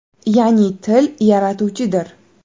Ya’ni til – yaratuvchidir.